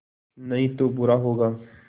नहीं तो बुरा होगा